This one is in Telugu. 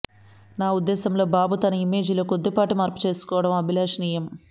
నా ఉద్దేశంలో బాబు తన ఇమేజిలో కొద్దిపాటి మార్పు చేసుకోవడం అభిలషణీయం